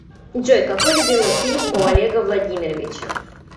джой какой любимый фильм у олега владимировича